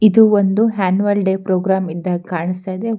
ಇದು ಒಂದು annual day programme ಅಂತ ಕಾಣಿಸ್ತ ಇದೆ.